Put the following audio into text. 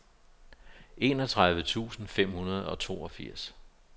enogtredive tusind fem hundrede og toogfirs